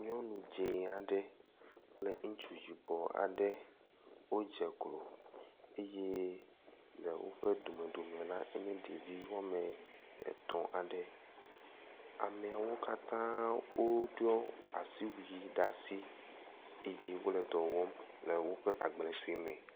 nyɔnu dzĩ aɖe kple ŋutsu yibɔ aɖe wó dzeklo eye le wóƒe domedome la enye ɖevi woame tɔ̃ aɖe amɛawo katã wóɖɔ asiwui ɖasi eye wóle dɔwɔm le wóƒe agble soe me